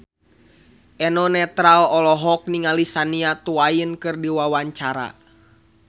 Eno Netral olohok ningali Shania Twain keur diwawancara